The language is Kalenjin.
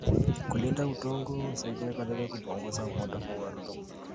Kulinda udongo husaidia katika kupunguza upotevu wa rutuba.